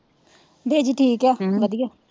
Daisy ਠੀਕ ਆ ਅਮ ਵਧੀਆ,